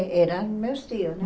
É, eram meus tios, né?